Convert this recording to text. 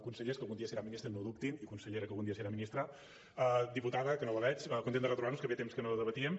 consellers que algun dia seran ministres no ho dubtin i consellera que algun dia serà ministra diputada que no la veig content de retrobar nos que feia temps que no debatíem